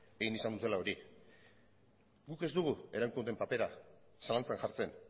egin izan dutela hori guk ez dugu erakundeen papera zalantzan jartzen